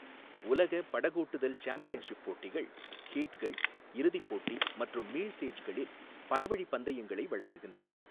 உலக படகோட்டுதல் சாம்பியன்ஷிப் போட்டிகள் ஹீட்கள், இறுதிப் போட்டி மற்றும் மீள்சேஜ்களில் பலவழிப் பந்தயங்களை வழங்குகின்றன.